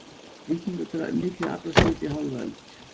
Víkingur mikið aflaskip í hálfa öld